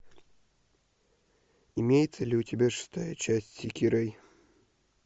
имеется ли у тебя шестая часть сэкирэй